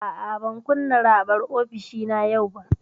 A'a, ban kunna raɓar ofishina yau ba.